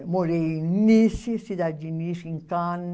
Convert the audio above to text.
morei em Nice, cidade de Nice, em Cannes.